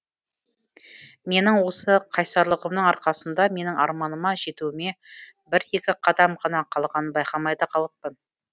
менің осы қайсарлығымның арқасында менің арманыма жетуіме бір екі қадам ғана қалғанын байқамай да қалыппын